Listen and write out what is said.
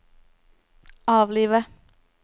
avlive